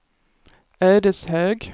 Ödeshög